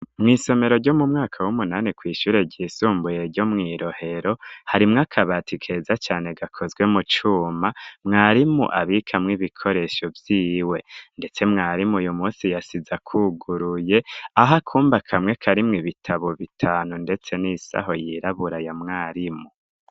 Mw'isomero ryo mu mwaka w'umunani kw'ishure ryisumbuye ryo mwi Rohero harimwo akabati keza cane gakozwe mu cuma mwarimu abikamwo ibikoresho vyiwe ndetse mwarimu uyu munsi yasize akuguruye aho akumba kamwe karimwo ibitabo bitanu ndetse n'isaho yirabura ya mwarimu.